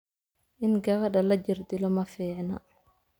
in gabadha la jirdilo ma fiicna